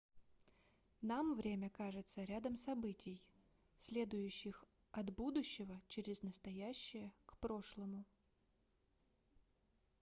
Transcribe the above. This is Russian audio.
нам время кажется рядом событий следующих от будущего через настоящее к прошлому